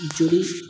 Joli